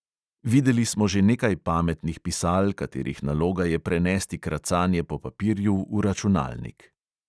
Videli smo že nekaj pametnih pisal, katerih naloga je prenesti kracanje po papirju v računalnik.